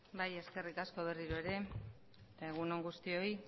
bai eskerrik asko berriro ere egun on guztioi